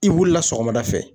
I wulila sɔgɔmada fɛ.